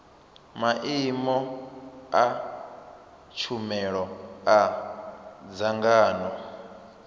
maimo a tshumelo a dzangano